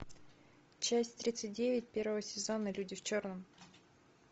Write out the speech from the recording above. часть тридцать девять первого сезона люди в черном